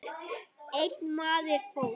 Einn maður fórst.